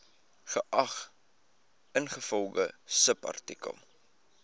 geag ingevolge subartikel